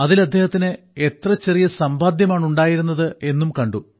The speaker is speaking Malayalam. അതിൽ അദ്ദേഹത്തിന് എത്ര ചെറിയ സമ്പാദ്യമാണ് ഉണ്ടായിരുന്നത് എന്നും കണ്ടു